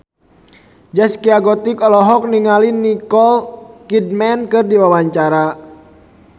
Zaskia Gotik olohok ningali Nicole Kidman keur diwawancara